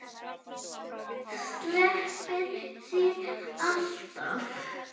Stelpan þín, alltaf.